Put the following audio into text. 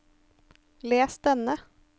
les denne